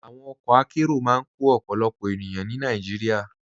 Àwọn ọkọ àkéró máa n kọ ọ̀pọ̀lọpọ̀ ènìyàn ní Nàìjíríà.